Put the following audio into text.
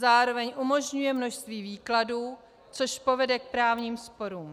Zároveň umožňuje množství výkladů, což povede k právním sporům.